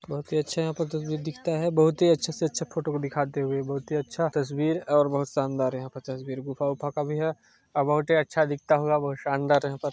बहुत ही अच्छा यहाँ पर तस्वीर दीखता है बहुत ही अच्छे से अच्छा फोटो को दिखाते हुए बहुत ही अच्छा तस्वीर और बहुत शानदार यहां तस्वीर गुफा उफ़ा का भी है और बहुत ही अच्छा दिखता होगा बहुत शानदार यहां पर--